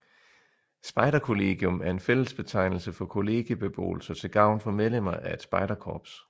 Spejderkollegium er en fællesbetegnelse for kollegiebeboelser til gavn for medlemmer af et spejderkorps